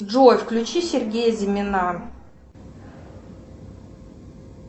джой включи сергея зимина